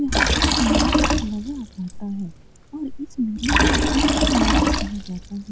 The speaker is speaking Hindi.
यहाँ एक मेला लगा रेहता हैऔर इस मेले को सोनपुर मेला कहा जाता है।